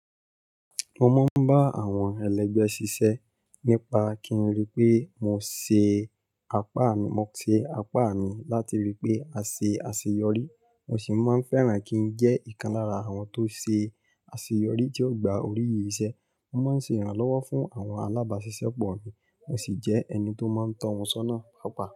Mo máa ń bá àwọn ẹlẹ́gbẹ́ ṣiṣẹ́ nípa kí n rí pé mo ṣe apá mi, mo ṣe apá mi láti rí i pé a ṣe àṣeyọrí. Mo sì máa ń fẹ́ràn kí n jẹ́ ìkan lára àwọn tó ṣe àṣeyọrí tí ó gba oríyìí iṣẹ́. Mo máa ń ṣe ìrànlọ́wọ́ fún àwọn alábáṣiṣẹ́ pọ̀ mi. Mo sì jẹ́ ẹni tó máa ń tọ́ ohun sọ́nà pọ̀ pa.